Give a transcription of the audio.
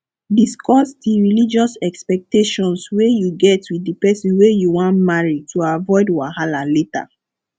discuss di religious expectations wey you get with di person wey you wan marry to avoid wahala later